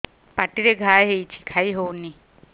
ପାଟିରେ ଘା ହେଇଛି ଖାଇ ହଉନି